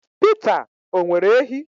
Peter, o nwere ehi?